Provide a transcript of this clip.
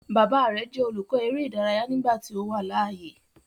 Baba rẹ jẹ olukọ ere idaraya nigbati o wa laaye